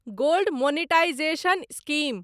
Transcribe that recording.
gold monetisation scheme